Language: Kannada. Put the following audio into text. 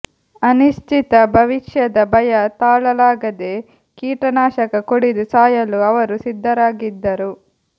ಅನಿಶ್ಚಿತ ಭವಿಷ್ಯದ ಭಯ ತಾಳಲಾಗದೆ ಕೀಟನಾಶಕ ಕುಡಿದು ಸಾಯಲು ಅವರು ಸಿದ್ಧರಾಗಿದ್ದರು